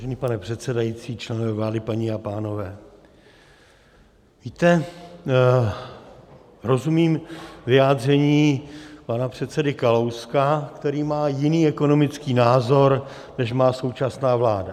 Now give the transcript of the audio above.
Vážený pane předsedající, členové vlády, paní a pánové, víte, rozumím vyjádření pana předsedy Kalouska, který má jiný ekonomický názor, než má současná vláda.